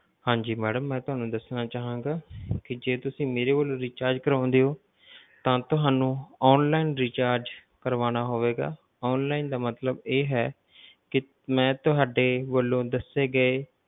ਹਾਂਜੀ madam ਮੈਂ ਤੁਹਾਨੂੰ ਦੱਸਣਾ ਚਾਹਾਂਗਾ ਕਿ ਜੇ ਤੁਸੀਂ ਮੇਰੇ ਵੱਲੋਂ recharge ਕਰਵਾਉਂਦੇ ਹੋ ਤਾਂ ਤੁਹਾਨੂੰ online recharge ਕਰਵਾਉਣਾ ਹੋਵੇਗਾ online ਦਾ ਮਤਲਬ ਇਹ ਹੈ ਕਿ ਮੈਂ ਤੁਹਾਡੇ ਵੱਲੋਂ ਦੱਸੇ ਗਏ